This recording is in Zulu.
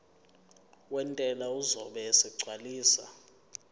wentela uzobe esegcwalisa